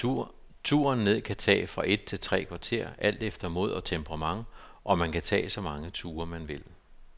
Turen ned kan tage fra et til tre kvarter alt efter mod og temperament, og man kan tage så mange ture, man vil.